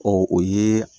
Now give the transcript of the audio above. Ɔ o ye